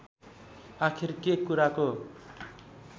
आखिर के कुराको